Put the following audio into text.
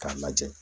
K'a lajɛ